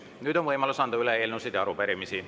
Nüüd on võimalus üle anda eelnõusid ja arupärimisi.